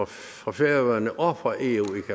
for færøerne og for eu